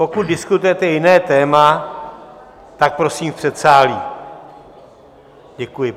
Pokud diskutujete jiné téma, tak prosím v předsálí, děkuji.